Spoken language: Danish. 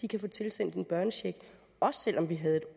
kan få tilsendt en børnecheck også selv om vi havde et